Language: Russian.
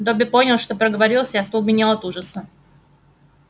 добби понял что проговорился и остолбенел от ужаса